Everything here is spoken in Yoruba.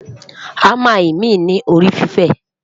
hamá imi ní orí fifẹ